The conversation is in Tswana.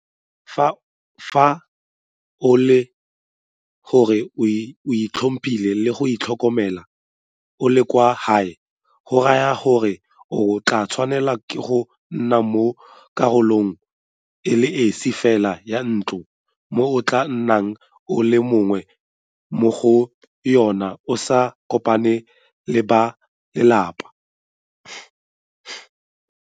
Fa e le gore o itlhophile le go itlhokomela o le kwa gae go raya gore o tla tshwanelwa ke go nna mo karolong e le esi fela ya ntlo mo o tla nnang o le mongwe mo go yona o sa kopane le ba lelapa.